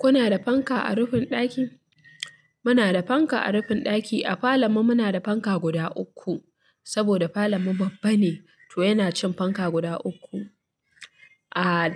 Kuna da fanka a rufin ɗaki? Muna da fanka a rufin ɗaki. A falon mu muna da fanka guda uku, saboda falon mu babba ne, to yana cin fanka guda uku. A,